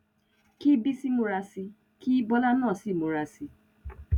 kí bísí múra sí i kí bọ́lá náà sì múra sí i